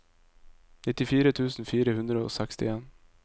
nittifire tusen fire hundre og sekstien